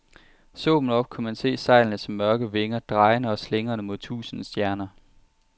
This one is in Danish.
Så man op, kunne man se sejlene som mørke vinger, drejende og slingrende mod tusinde stjerner.